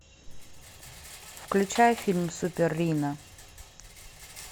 включай фильм супер рино